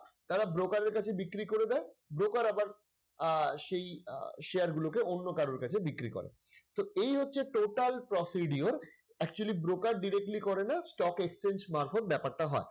তারা broker এর কাছে বিক্রি করে দেয় broker আহ আবার সেই আহ share গুলো কে অন্য কারো কাছে বিক্রি করে তো এই হচ্ছে total procedure actually broker directly করেনা stock exchange মারফত ব্যাপারটা হয়।